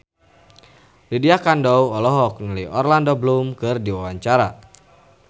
Lydia Kandou olohok ningali Orlando Bloom keur diwawancara